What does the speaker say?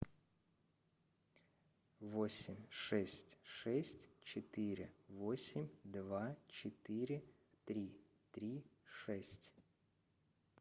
восемь шесть шесть четыре восемь два четыре три три шесть